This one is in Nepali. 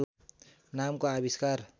नामको आविष्कार